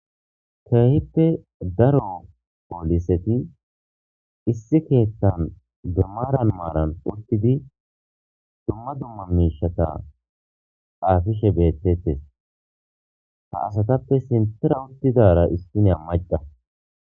Keeehippe daro poliseti issi keeththan maaran maaran uttidi dumma dumma miishsha xaafishe beetetees. Ha asatappe sinththara uttidaara issiya macca